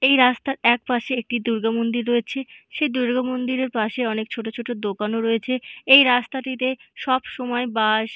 এই রাস্তার এক পাশে একটি দূর্গামন্দির রয়েছে । সেই দূর্গা মন্দিরের পাশে অনেক ছোট ছোট দোকান রয়েছে এ এই রাস্তাটিতে সব সময় বাস --